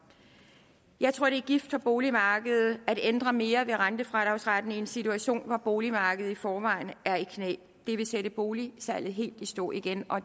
jeg tror det er gift for boligmarkedet at ændre mere ved rentefradragsretten i en situation hvor boligmarkedet i forvejen er i knæ det vil sætte boligsalget helt i stå igen og